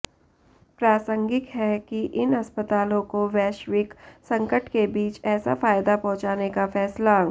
प्रासंगिक है कि इन अस्पतालों को वैश्विक संकट के बीच ऐसा फायदा पहुंचाने का फैसला